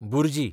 bhurji